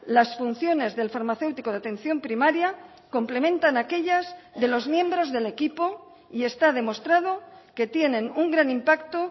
las funciones del farmacéutico de atención primaria complementan a aquellas de los miembros del equipo y está demostrado que tienen un gran impacto